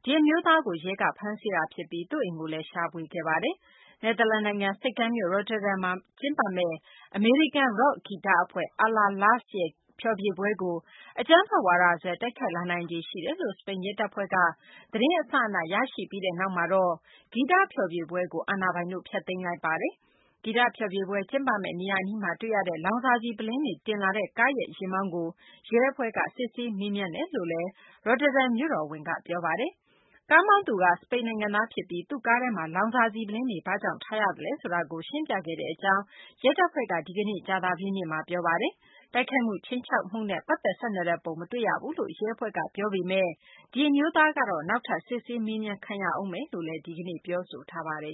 အတွင်း ဒီအမျိုးသားကို ရဲက ဖမ်းဆီးခဲ့တာ ဖြစ်ပြီး သူ့အိမ်ကိုလည်း ရှာဖွေခဲ့ပါတယ်။ နယ်သာလန်နိုင်ငံ ဆိပ်ကမ်းမြို့ Rotterdam မှာ ကျင်းပမယ့် အမေရိကန် ရော့ခ်ဂီတအဖွဲ့ Allah-Las ရဲ့ ဖျော်ဖြေပွဲကို အကြမ်းဖက်ဝါဒစွဲ တိုက်ခိုက်လာနိုင်ခြေ ရှိတယ်လို့ စပိန်ရဲတပ်ဖွဲ့ထံက သတင်းအစအန ရရှိပြီးနောက်မှာတော့ ဂီတဖျော်ဖြေပွဲကို အာဏာပိုင်တို့က ဖျက်သိမ်းလိုက်ပါတယ်။ ဂီတဖျော်ဖြေပွဲ ကျင်းပမယ့် နေရာအနီးမှာ တွေ့ရတဲ့ လောင်စာဆီ ပုလင်းတွေ တင်လာတဲ့ကားရဲ့ ယာဉ်မောင်းကိုရဲအဖွဲ့က မေးမြန်းစစ်ဆေးနေတယ်လို့ Rotterdam မြို့တော်ဝန် Ahmed Aboutaleb က ရုတ်တရက် စီစဉ်ခဲ့ရတဲ့ သတင်းစာ ရှင်းလင်းပွဲမှာ ပြောဆိုခဲ့ပါတယ်။ ကားကတော့ စပိန်နိုင်ငံမှာ မှတ်ပုံတင်ထားတာပါ။ ကားမောင်းသူက စပိန်နိုင်ငံသား ဖြစ်ပြီး သူ့ကားထဲမှာ လောင်စာဆီ ပုလင်းတွေ ဘာကြောင့် ထားရသလဲဆိုတာကို ရှင်းပြခဲ့တဲ့ အကြောင်း ရဲအဖွဲ့က ဒီကနေ့ ကြာသပတေးနေ့မှာ ပြောဆိုပါတယ်။ တိုက်ခိုက်မှု ခြိမ်းခြောက်မှုနဲ့ ပတ်သက်ဆက်နွယ်တဲ့ ပုံ မတွေ့ရဘူးလို့ ရဲအဖွဲ့က ပြောပေမယ့် ဒီအမျိုးသားကတော့ နောက်ထပ် စစ်ဆေးမေးမြန်းခံရဦးမယ်လို့ ဒီကနေ့ ပြောဆိုပါတယ်